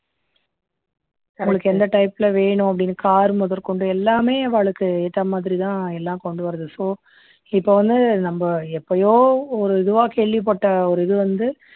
அவாளுக்கு என்ன type ல வேணும் அப்படின்னு car முதற்கொண்டு எல்லாமே அவாளுக்கு ஏத்த மாதிரி தான் எல்லாம் கொண்டு வர்றது so இப்போ வந்து நம்ம எப்பையோ ஒரு இதுவா கேள்விப்பட்ட ஒரு இது வந்து